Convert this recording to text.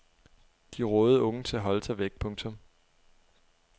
De rådede unge til at holde sig væk. punktum